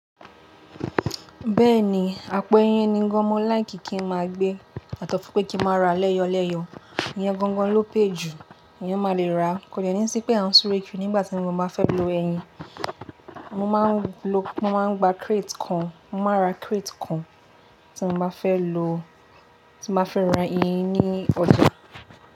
Bẹ́ẹ̀ni, àpò ẹyin ni gan-an mó like kí n máa gbé, àtọ̀pẹ́ kí n máa ra lẹ́yọ-lẹ́yọ. Iyan gangan ló pay jù, ẹ̀yan máa lè rà á. Kò de ní sí pé a ń súre kíì nígbà tí mo báa fẹ́ lo ẹyin, mo máa ń lo, mo máa ń gba crate kan, mo máa ra crate kan tí mo máa fẹ́ lo, tí mo máa fẹ́ rà ẹyin ní ọjà.